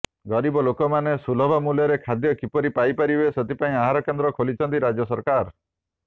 ଗରିବ ଲୋକମାନେ ସୁଲଭ ମୂଲ୍ୟରେ ଖାଦ୍ୟ କିପରି ପାଇ ପାରିବେ ସେଥିପାଇଁ ଆହାର କେନ୍ଦ୍ର ଖୋଲିଛନ୍ତି ରାଜ୍ୟ ସରକାର